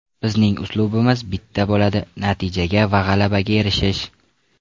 Bizning uslubimiz bitta bo‘ladi natijaga va g‘alabaga erishish.